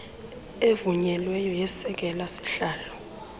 evunyelweyo yesekela sihalo